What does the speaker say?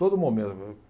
Todo momento.